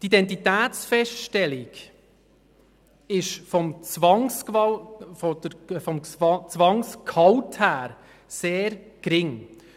Die Identitätsfeststellung ist vom Zwangsgehalt her sehr gering.